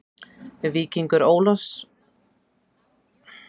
Víkingur Ólafsvík er líklega á leiðinni í undanúrslit VISA-bikarsins.